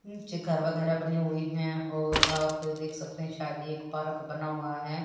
नीचे घर वगैराह बने हुए हैं और आप देख सकते हैं शायद एक पार्क बना हुआ हैं।